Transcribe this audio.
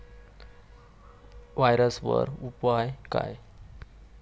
व्हायरसवर उपाय काय?